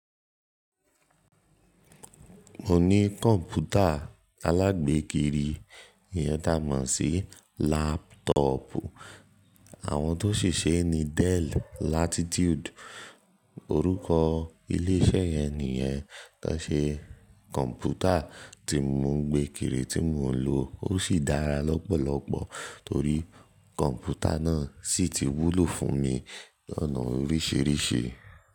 Mo ní kọ̀mpútà alágbékiri yẹn dá mọ̀ sí laptop. Àwọn tó ṣiṣe ni Dell Latitude orúkọ ilé iṣẹ́ yẹn nìyẹn tó ṣe kọ̀mpútà tí mo ń gbé kiri tí mò ń lò. Ó sì dára lọ́pọ̀lọpọ̀ torí kọ̀mpútà náà sì ti wúlò fún mi lọ́nà oríṣìíríṣìí.